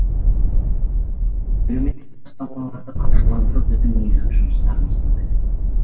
әлеуметтік бастамаларды қаржыландыру біздің негізгі жұмыстарымыздың бірі